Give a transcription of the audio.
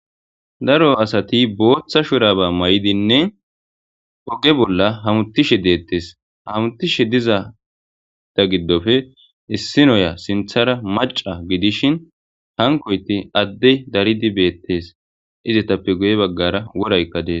daro asati booththa shuraba may7idinne oge bolla hamutishe deettes hamutishe dizata giddofe issinoya sinthara maca gidishin hankoyti adde daridi beettes izetappe guye baggara woraykka dees